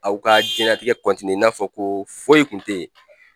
Aw ka diɲɛlatigɛ i n'a fɔ ko foyi kun tɛ yen.